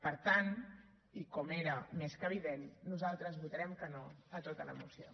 per tant i com era més que evident nosaltres votarem que no a tota la moció